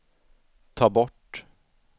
ta bort